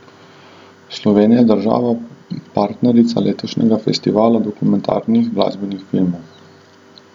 Slovenija je država partnerica letošnjega festivala dokumentarnih glasbenih filmov.